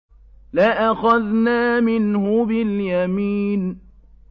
لَأَخَذْنَا مِنْهُ بِالْيَمِينِ